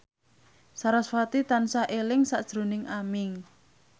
sarasvati tansah eling sakjroning Aming